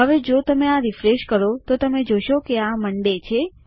હવે જો તમે આ રીફ્રેશ કરો તો તમે જોશો કે આ મોન્ડે છે